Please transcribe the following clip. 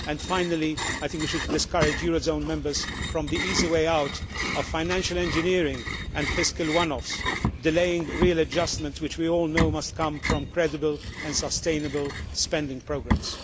Finally, I think we should discourage eurozone members from the easy way out of financial engineering and fiscal one offs, delaying real adjustments which we all know must come from credible and sustainable spending programmes.